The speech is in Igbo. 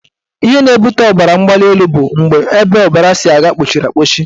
Ihe na-ebute ọbaramgbalịelu bụ mgbe ebe ọbara si aga kpọchiri akpọchi